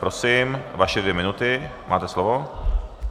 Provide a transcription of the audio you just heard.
Prosím vaše dvě minuty, máte slovo.